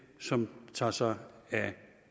som tager sig af